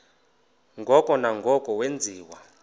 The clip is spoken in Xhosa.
ngoko nangoko wenziwa